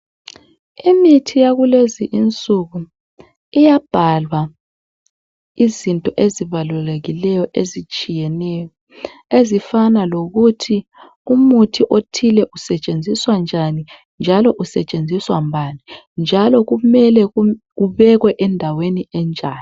Imithi yakule insuku iyabhalwa izinto ezibalulekileyo ezitshiyeneyo ezifana lokut umuthi othile usetshenziswa njani, njalo usetshenziswa ngubani njalo kumele ubekwe endaweni enjani